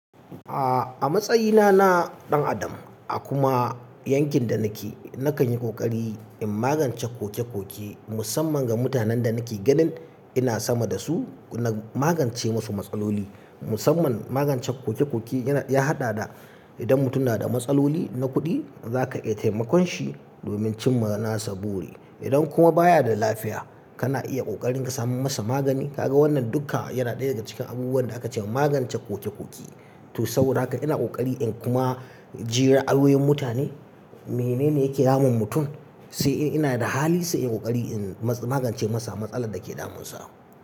A, a matsayina na ɗan adam a kuma yankin da nake, nakan yi ƙoƙari in magance koke-koke musamman ga mutanen da nake ganin ina sama da su, na magance musu matsaloli. Musamman magance koke-koke yana, ya haɗa da idan mutum na da matsaloli na kuɗi, za ka iya taimakon shi domin cimma nasa buri. Idan kuma baya da lafiya, kana iya ƙoƙarin ka samo masa magani. Kaga wannan dukka yana ɗaya daga cikin abubuwan da aka ce magance koke-koke. To saboda haka ina ƙoƙari in kuma ji ra'ayoyin mutane, menene yake damun mutum, sai in ina da hali sai in ƙoƙari in ma-magance masa matsalar da ke damunsa.